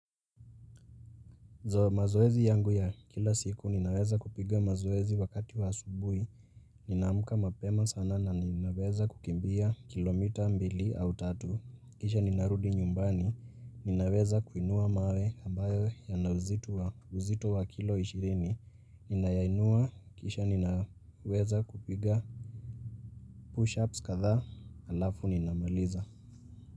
Mazoezi yangu ya kila siku ninaweza kupiga mazoezi wakati wa asubui, ninaamka mapema sana na ninaweza kukimbia kilomita mbili au tatu, kisha ninarudi nyumbani, ninaweza kuinua mawe ambayo yana uzito wa uzito wa kilo ishirini, ninayainua kisha ninaweza kupiga pushups kadhaa alafu ninamaliza.